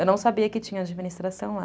Eu não sabia que tinha administração lá.